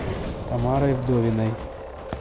тамарой вдовиной